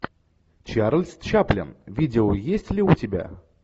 чарльз чаплин видео есть ли у тебя